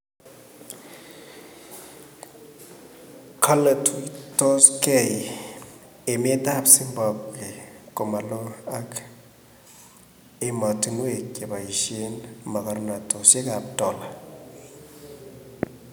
kale tuitoskee eneet ap zibambwe komaloo ak ematunweek chepoisen mogornatet ap dola